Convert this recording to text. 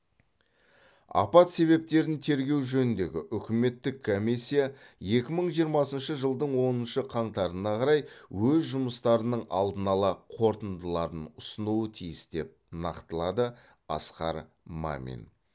апат себептерін тергеу жөніндегі үкіметтік комиссия екі мың жиырмасыншы жылдың оныншы қаңтарына қарай өз жұмыстарының алдын ала қорытындыларын ұсынуы тиіс деп нақтылады асқар мамин